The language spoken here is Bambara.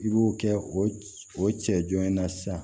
I b'o kɛ o cɛ jɔn in na sisan